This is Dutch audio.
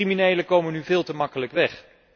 Criminelen komen nu veel te gemakkelijk weg.